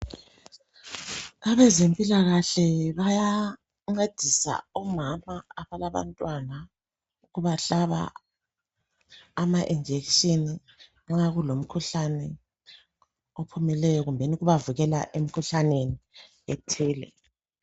Ebazempilakahle baya ncedisa omama abalabantwana ukubahlaba ama injection nxa kulomkhuhlane ophumileyo kumbeni ukubavikela emikhuhlaneni ethile.